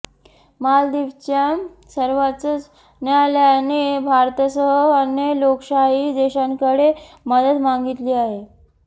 मालदीवच्या सर्वोच्च न्यायालयाने भारतासह अन्य लोकशाही देशांकडे मदत मागितली आहे